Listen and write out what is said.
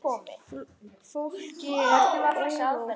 Fólki er órótt.